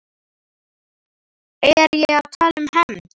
Er ég að tala um hefnd?